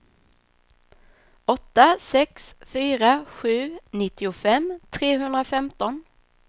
åtta sex fyra sju nittiofem trehundrafemton